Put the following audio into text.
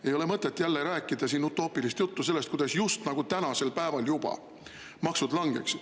Ei ole mõtet jälle rääkida utoopilist juttu sellest, kuidas just nagu juba tänasel päeval hakkaksid maksud langema.